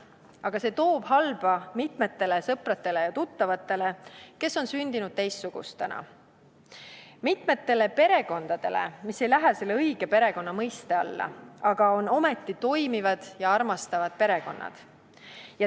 Aga see toob kaasa halba mitmetele sõpradele ja tuttavatele, kes on sündinud teistsugustena, mitmetele perekondadele, mis ei lähe selle õige perekonna mõiste alla, aga on ometi toimivad ja armastavad perekonnad.